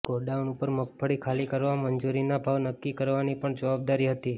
godown ઉપર મગફળી ખાલી કરવા મંજૂરીના ભાવ નક્કી કરવાની પણ જવાબદારી હતી